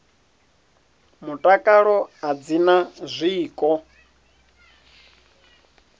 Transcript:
mutakalo a dzi na zwiko